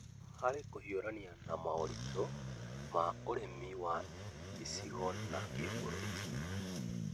Harĩ kũhiũrania na moritũ ma ũrĩmi wa icigo na kĩbũrũri,